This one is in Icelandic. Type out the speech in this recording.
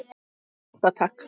Elta takk!